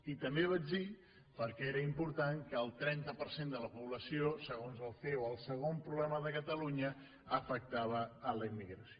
i també vaig dir perquè era important que per al trenta per cent de la població segons el ceo el segon problema de catalunya afectava la immigració